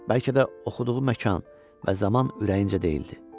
Bəlkə də oxuduğu məkan və zaman ürəyincə deyildi.